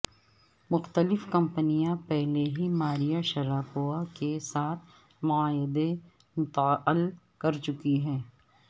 مختلف کمپنیاں پہلے ہی ماریہ شراپووا کے ساتھ معاہدے معطل کر چکی ہیں